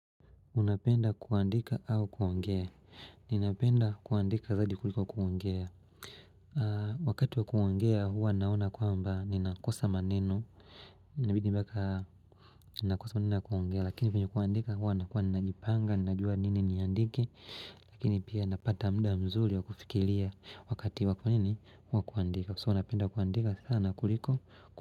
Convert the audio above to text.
Unapenda kuandika au kuongea. Ninapenda kuandika zaidi kuliko kuongea. Wakati wa kuongea huwa naona kuamba ni nakosa maneno. Ninabidi mpaka nakosa maneno kuongea. Lakini venye kuandika huwa na kuwa najipanga. Ninajua nini niandike. Lakini pia napata mda mzuri wa kufikiria. Wakati wa kuandika huwa kuandika. So unapenda kuandika sana kuliko kuandika.